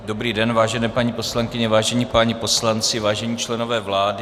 Dobrý den, vážené paní poslankyně, vážení páni poslanci, vážení členové vlády.